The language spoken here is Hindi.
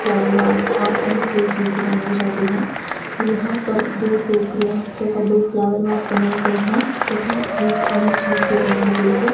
फ्लावर वास और अन्य कई चीजें बनाई जाती हैं यहां पर दो टोकरियां तथा दो फ्लावर वास बनाए गए हैं तथा एक अन्य चीज भी बनाई गई है।